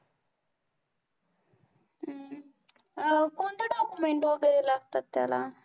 अं कोणतं document वैगेरे लागतात त्याला?